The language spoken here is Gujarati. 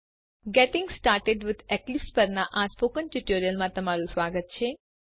ગેટિંગ સ્ટાર્ટેડ વિથ એક્લિપ્સ પરનાં સ્પોકન ટ્યુટોરીયલમાં સ્વાગત છે